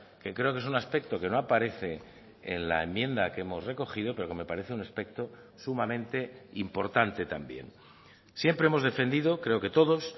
que creo que es un aspecto que no aparece en la enmienda que hemos recogido pero que me parece un aspecto sumamente importante también siempre hemos defendido creo que todos